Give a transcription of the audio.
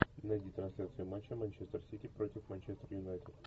найди трансляцию матча манчестер сити против манчестер юнайтед